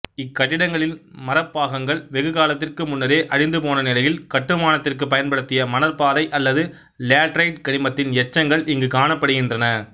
இக்கட்டிடங்களின் மரப்பாகங்கள் வெகுகாலத்திற்கு முன்னரே அழிந்து போனநிலையில் கட்டுமானத்திற்குப் பயன்படுத்திய மணற்பாறை அல்லது லேடரைட்டு கனிமத்தின் எச்சங்கள் இங்கு காணப்படுகின்றன